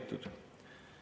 Head kolleegid!